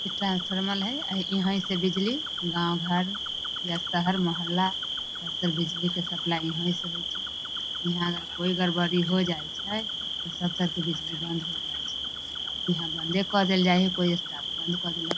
इ ट्रांस्फर्मल है अ इहा से बिजली गांव घर या शहर मोहल्ला सब बिजली के सप्लाई हिए से होइ छे | कोई गड़बड़ी होइ जाइ छै तो सब तार के बिजली बंद होइ जाइ छै इहा बन्दे क देल जाय कोई स्टाफ बंद क देलक --